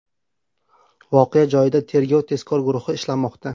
Voqea joyida tergov-tezkor guruhi ishlamoqda.